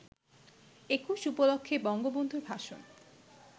একুশ উপলক্ষে বঙ্গবন্ধুর ভাষণ